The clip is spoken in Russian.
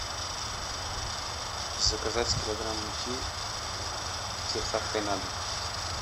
заказать килограмм муки с доставкой на дом